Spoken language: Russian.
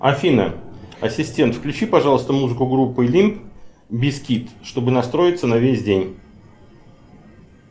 афина ассистент включи пожалуйста музыку группы лимп бизкит чтобы настроиться на весь день